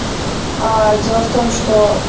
а дело в том что